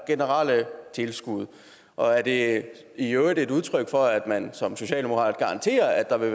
generelle tilskud og er det i øvrigt et udtryk for at man som socialdemokrat garanterer at der vil